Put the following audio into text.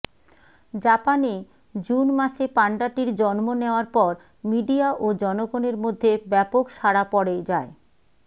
জাপানে জুন মাসে পাণ্ডাটির জন্ম নেয়ার পর মিডিয়া ও জনগণের মধ্যে ব্যাপক সাড়া পড়ে যায়